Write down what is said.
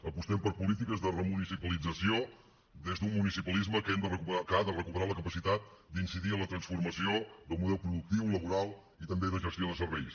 apostem per polítiques de remunicipalització des d’un municipalisme que ha de recuperar la capacitat d’incidir en la transformació del model productiu laboral i també de gestió de serveis